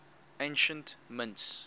ancient mints